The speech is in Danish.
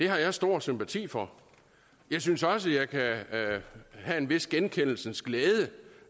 har jeg stor sympati for jeg synes også jeg kan have en vis genkendelsens glæde